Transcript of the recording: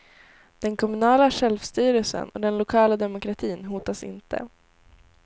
Den kommunala självstyrelsen och den lokala demokratin hotas inte.